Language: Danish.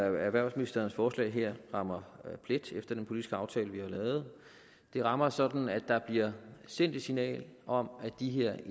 at erhvervsministerens forslag her rammer plet efter den politiske aftale vi har lavet det rammer sådan at der bliver sendt et signal om at de her